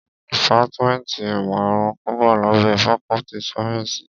Dìpátmẹ́ntì ìmọ̀ ẹranko wá lábẹ́ fakọ́ltì sáyẹ́nsì.